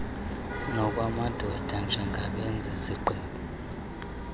nokwamadoda njengabenzi zigqibp